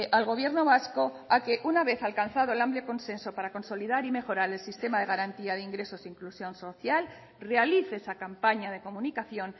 al gobierno vasco a que una vez alcanzado el amplio consenso para consolidar y mejorar el sistema de garantía de ingresos e inclusión social realice esa campaña de comunicación